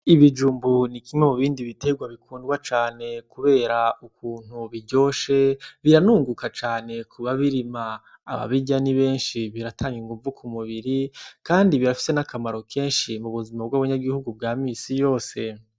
Ibijumbu ni kimwe mu bindi biterwa bikundwa cane kubera ukuntu biryoshe biranunguka cane kubabirima ababirrya ni benshi biratanga inguvu ku mubiri kandi birafise N’akamaro kenshi mubuzima bw'abanyagihugu bwa minsi yose.